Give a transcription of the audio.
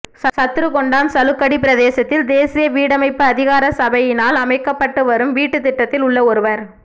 சத்ருக்கொண்டான் சலுக்கடி பிரதேசத்தில் தேசிய வீடமைப்பு அதிகார சபையினால் அமைக்கப்பட்டுவரும் வீட்டு திட்டத்தில் உள்ள ஒருவர்